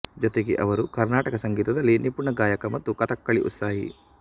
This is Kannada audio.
ಜೊತೆಗೆ ಅವರು ಕರ್ನಾಟಕ ಸಂಗೀತದಲ್ಲಿ ನಿಪುಣ ಗಾಯಕ ಮತ್ತು ಕಥಕ್ಕಳಿ ಉತ್ಸಾಹಿ